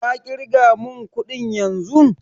Ka ƙirga mun ƙudin yanzun!